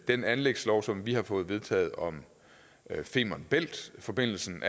den anlægslov som vi har fået vedtaget om femern bælt forbindelsen